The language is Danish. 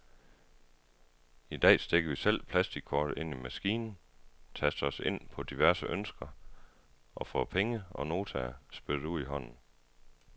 I dag stikker vi selv plastikkortet ind i maskinen, taster os ind på diverse ønsker og får penge og notaer spyttet ud i hånden.